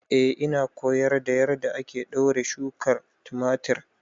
Eh ina koyar da yadda ake ɗaure shukar tumatir